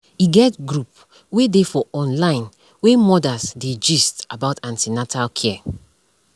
e get group wey dey for online wey mothers dey gist about an ten atal care